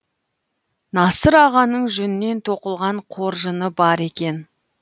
насыр ағаның жүннен тоқылған қоржыны бар екен